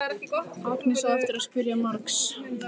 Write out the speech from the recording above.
Agnes á eftir að spyrja margs.